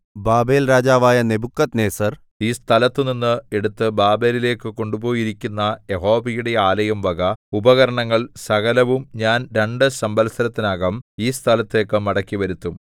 ബാബേൽരാജാവായ നെബൂഖദ്നേസർ ഈ സ്ഥലത്തുനിന്ന് എടുത്ത് ബാബേലിലേക്കു കൊണ്ടുപോയിരിക്കുന്ന യഹോവയുടെ ആലയംവക ഉപകരണങ്ങൾ സകലവും ഞാൻ രണ്ടു സംവത്സരത്തിനകം ഈ സ്ഥലത്തേക്ക് മടക്കിവരുത്തും